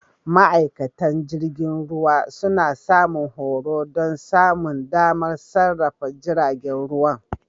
Ma'aikatan jirgin ruwa suna samun horo don samun damar sarrafa jiragen ruwa.